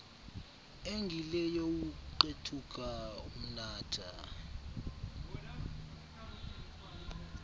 engile youkuqethuka umnatha